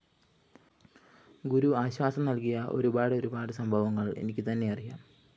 ഗുരു ആശ്വാസം നല്‍കിയ ഒരുപാടൊരുപാട് സംഭവങ്ങള്‍ എനിക്കുതന്നെ അറിയാം